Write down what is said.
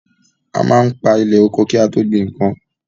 A máa ń pa ilẹ̀ oko ki a tó gbin nnkan.